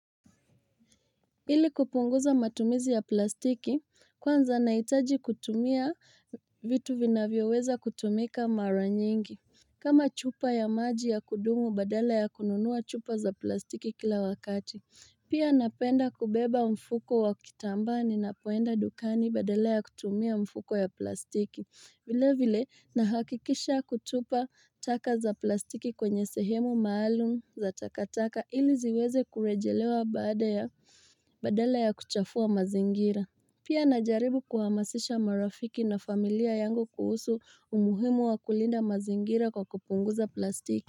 Ili kupunguza matumizi ya plastiki kwanza nahitaji kutumia vitu vinavyoweza kutumika mara nyingi kama chupa ya maji ya kudumu badala ya kununua chupa za plastiki kila wakati pia napenda kubeba mfuko wa kitambani napoenda dukani badala ya kutumia mfuko ya plastiki vilevile na hakikisha kutupa taka za plastiki kwenye sehemu maalum za takataka ili ziweze kurejelewa Badala ya kuchafua mazingira Pia najaribu kuhamasisha marafiki na familia yangu kuhusu umuhimu wa kulinda mazingira kwa kupunguza plastiki.